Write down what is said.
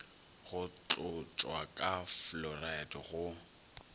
go tlotšwa ka fluoride go